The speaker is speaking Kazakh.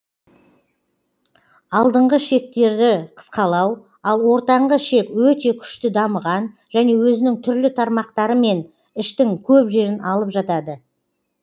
алдыңғы ішектері қысқалау ал ортаңғы ішек өте күшті дамыған және өзінің түрлі тармақтарымен іштің көп жерін алып жатады